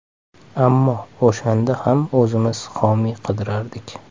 Ammo o‘shanda ham o‘zimiz homiy qidirardik.